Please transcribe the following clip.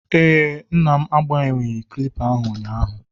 ee, nna m agbanweghị kilipa a ụnyaahụ